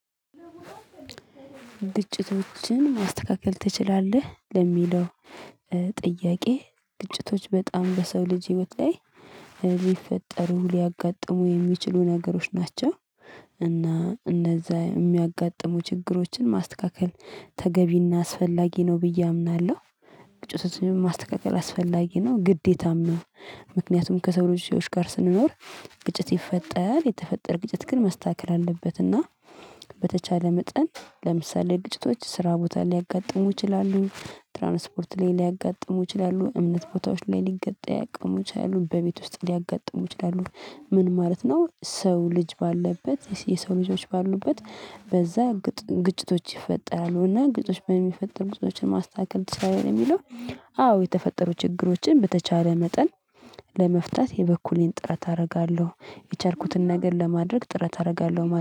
ግጭቶችን ማስተካከል ትችላለህ ለሚለው ጥያቄ? ግጭቶች በጣም በሰው ልጅ ህይወት ላይ ሊፈጠሩ ሊያጋጥሙ የሚችሉ ነገሮች ናቸው። እና እንነዛ የሚያጋጥሙ ችግሮችን ማስተካከል ተገቢና አስፈላጊ ነው ብዬ አምናለሁ። ግጭቶትን ማስተካከል አስፈላጊ ነው ግዴታም ነው። ምክንያቱም ከሰው ልጆች ጋር ስንኖር ግጭት ይፈጠራል። የተፈጠር ግጭት ግን መስተካከል አለበት። እና በተቻለ መጠን ለምሳሌ ግጭቶች ስራ ቦታ ሊያጋጥሙ ይችላሉ ትራንስፖርት ላይ ሊያጋጥሙ ይችላሉ እምነት ቦታዎች ላይ ሊገጠም ያቅሙ ይችላሉ በቤት ውስጥ ሊያጋጥሙ ይችላሉ። ምን ማለት ነው? ሰው ልጅ ባለበት የሰው ልጆች ባሉበት በዛ ግጭቶች ይፈጠራሉ። እና ግጭቶች በሚፈጥሩ ግጭቶችን ማስተካከል ትችላለህ የሚለው አዎ የተፈጠሩ ችግሮችን በተቻለ መጠን ለመፍታት የበኩሌን ጥረት አደርጋለሁ። የቻልኩትን ነገር ለማድረግ ጥረት አደርጋለሁ